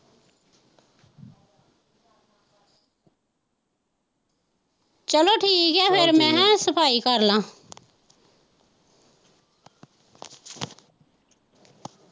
ਚੱਲੋ ਠੀਕ ਹੈ ਫਿਰ ਮੈਂ ਹੈਅ ਸਫਾਈ ਕਰਲਾ।